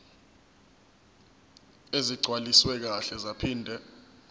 ezigcwaliswe kahle zaphinde